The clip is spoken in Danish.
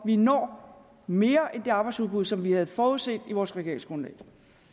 vi når mere end det arbejdsudbud som vi havde forudset i vores regeringsgrundlag